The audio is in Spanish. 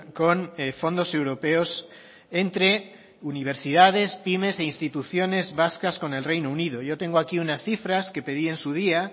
con fondos europeos entre universidades pymes e instituciones vascas con el reino unido yo tengo aquí unas cifras que pedí en su día